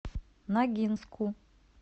ногинску